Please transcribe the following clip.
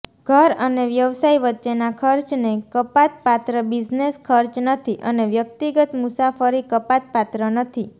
ઘર અને વ્યવસાય વચ્ચેના ખર્ચને કપાતપાત્ર બિઝનેસ ખર્ચ નથી અને વ્યક્તિગત મુસાફરી કપાતપાત્ર નથી